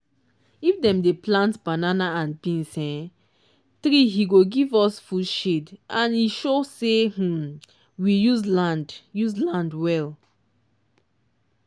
if dem dey plant banana and beans um tree he go give us foodshade and he show say um we use land use land well